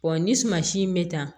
ni suma si in bɛ ta